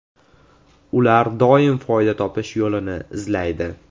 Ular doim foyda topish yo‘lini izlaydi.